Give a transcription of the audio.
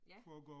Ja